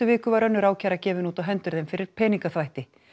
viku var önnur ákæra gefin út á hendur þeim fyrir peningaþvætti